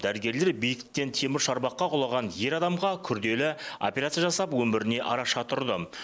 дәрігерлер биіктіктен темір шарбаққа құлаған ер адамға күрделі операция жасап өміріне араша тұрды